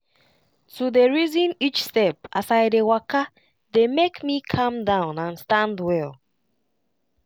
to dey reason each step as i dey waka dey make me calm down and stand well.